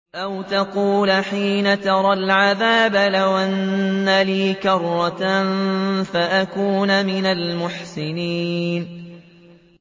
أَوْ تَقُولَ حِينَ تَرَى الْعَذَابَ لَوْ أَنَّ لِي كَرَّةً فَأَكُونَ مِنَ الْمُحْسِنِينَ